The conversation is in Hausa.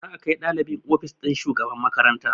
Za a kai ɗalibin ofis ɗin shugaban makaranta